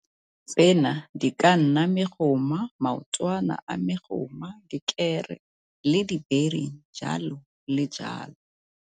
Tsena di ka nna megoma, maotwana a megoma, dikere le dibering, jalo le jalo.